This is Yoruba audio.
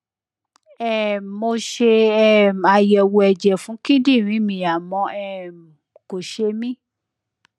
um mo ṣe um àyẹwò ẹjẹ fún kíndìnrín mi àmọ um kò ṣe mí